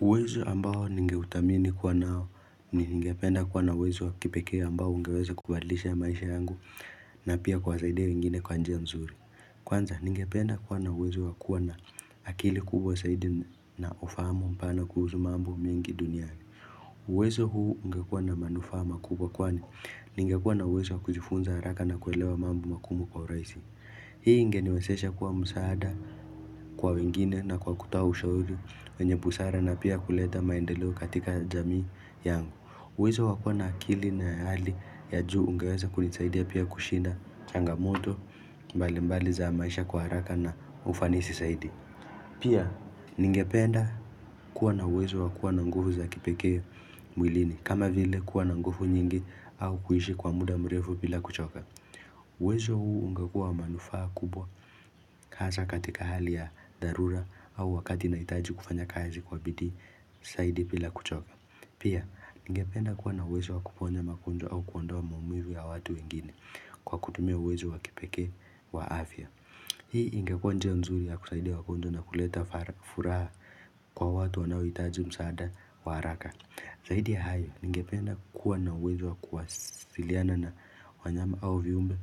Uwezo ambao ningeutamini kuwa nao ni ngependa kuwa na uwezo wakipeke ambao ngeweze kubadlisha maisha yangu na pia kwa saide wengine kwa nje ya msuri. Kwanza ngependa kuwa na uwezo wakua na akili kubwa saidi na ufamu mpana kuhuzu mambu myingi duniani. Uwezo huu ngekuwa na manufama kubwa kwani ngekuwa na uwezo wakujifunza haraka na kuelewa mambu makumu kwa uraisi. Ndeleo katika jamii yangu. Wezo wakua na akili na hali ya juu ungeweza kuni saidi ya pia kushinda changamoto mbali mbali za maisha kuharaka na ufanisi saidi. Pia ningependa kuwa na wezo wakua na nguvu za kipeke mwilini. Kama vile kuwa na ngufu nyingi au kuishi kwa muda mrefu pila kuchoka. Wezo huu ungekua manufaa kubwa kasa katika hali ya dharura au wakati na itaji kufanya kazi kwa bidhi saidi pila kuchoka. Pia, ninge penda kuwa na uwezo wa kuponja makundwa au kuondwa maumivu ya watu wengine kwa kutumia uwezo wa kipeke wa afya. Hii nge kwa nje ya mzuri ya kusaidia wakundwa na kuleta furaha kwa watu wanawitaji msaada wa haraka. Zaidi ya hayo, ninge penda kuwa na uwezo wa kuwasiliana na wanyama au viumbe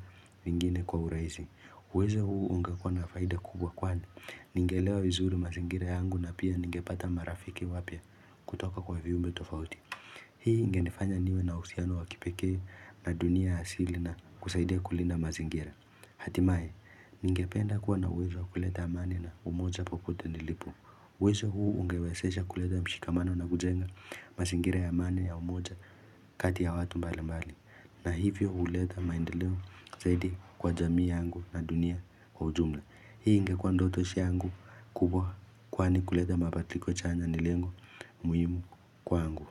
mingine kwa uraizi. Uwezo huu unge kwa na faida kubwa kwani Ningelewa uwezo wa zuri mazingira yangu na pia ninge pata marafiki wapya kutoka kwa viumbe tofauti. Hii nge nifanya niwe na usiyano wakipeke na dunia asili na kusaidia kulinda mazingira. Hatimaye, ninge penda kuwa na uwezo kuleta amani na umoja popote nilipo uwezo huu ungewezesha kuleta mshikamano na kujenga mazingira ya amani ya umoja kati ya watu mbali mbali. Na hivyo uleta maindeleo zaidi kwa jamii angu na dunia wa ujumla. Hii ngekwa ndotoshi angu kubwa kwani kuleta mabaliko chanya nilengo muhimu kwa angu.